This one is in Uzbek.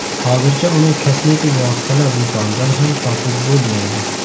Hozircha uni kosmetik vositalar do‘konidan ham topib bo‘lmaydi.